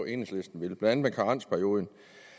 enhedslisten vil blandt andet med karensperioden